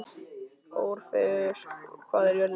Orfeus, hvað er jörðin stór?